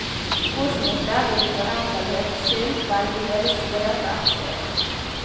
Årsmøtet ville for enkelthets skyld velge hele styret fra ett sted.